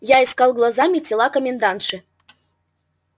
я искал глазами тела комендантши